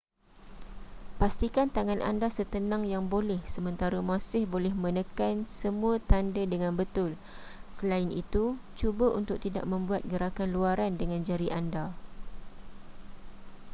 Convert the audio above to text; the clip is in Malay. pastikan tangan anda setenang yang boleh sementara masih menekan semua tanda dengan betul selain itu cuba untuk tidak membuat gerakan luaran dengan jari anda